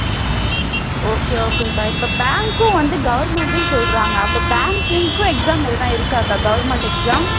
okay okay க்கா இப்போ bank க்கும் வந்து government ன்னு சொல்றாங்க அப்போ bank இருக்காக்கா exam எழுதுனா இருக்காக்கா government exam